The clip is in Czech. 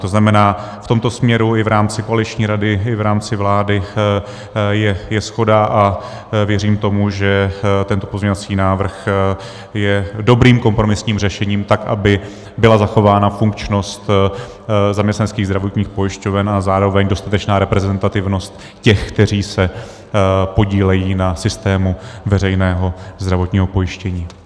To znamená, v tomto směru i v rámci koaliční rady i v rámci vlády je shoda a věřím tomu, že tento pozměňovací návrh je dobrým kompromisním řešením, tak aby byla zachována funkčnost zaměstnaneckých zdravotních pojišťoven a zároveň dostatečná reprezentativnost těch, kteří se podílejí na systému veřejného zdravotního pojištění.